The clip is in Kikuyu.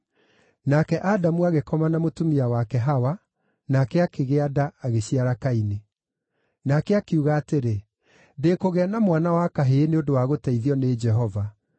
Nake Adamu agĩkoma na mũtumia wake Hawa, nake akĩgĩa nda, agĩciara Kaini. Nake akiuga atĩrĩ, “Ndĩkũgĩa na mwana wa kahĩĩ nĩ ũndũ wa gũteithio nĩ Jehova.”